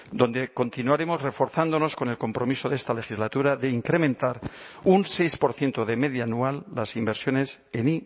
donde continuaremos reforzándonos con el compromiso de esta legislatura de incrementar un seis por ciento de media anual las inversiones en